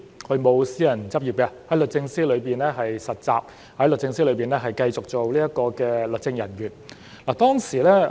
他沒有私人執業，在律政司實習，在律政司繼續做律政人員。